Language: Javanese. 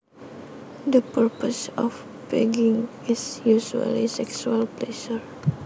The purpose of pegging is usually sexual pleasure